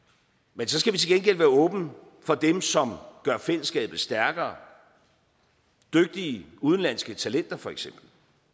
men så skal vi til gengæld være åbne for dem som gør fællesskabet stærkere dygtige udenlandske talenter for eksempel